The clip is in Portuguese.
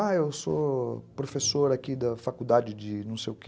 Ah, eu sou professor aqui da faculdade de não sei o quê.